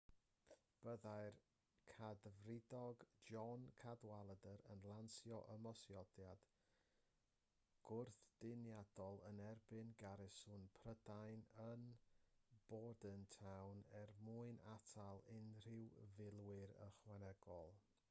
byddai'r cadfridog john cadwalder yn lansio ymosodiad gwrthdyniadol yn erbyn garsiwn prydain yn bordentown er mwyn atal unrhyw filwyr ychwanegol